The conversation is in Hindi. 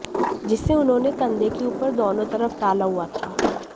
जिसे उन्होंने कंधे के ऊपर दोनों तरफ डाला हुआ था